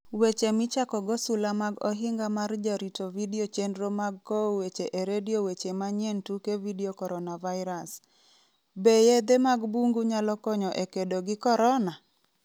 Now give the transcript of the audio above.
Weche Michakogo Sula mag Ohinga mar Jarito Vidio Chenro mag Kowo Weche e redio Weche Manyien tuke Vidio Coronavirus: Be yedhe mag bungu nyalo konyo e kedo gi corona?